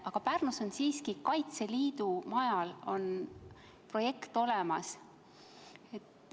Aga Pärnus on siiski Kaitseliidu majal projekt olemas.